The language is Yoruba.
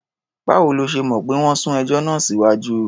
Báwo lo ṣe mọ̀ pé wọ́n sún ẹjọ́ náà síwájú?